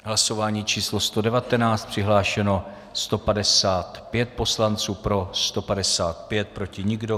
V hlasování číslo 119 přihlášeno 155 poslanců, pro 155, proti nikdo.